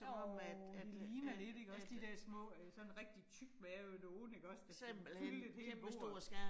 Jo det ligner lidt ikke også de der små øh sådan rigtig tykmavede nogen ikke også, der fyldte et helt bord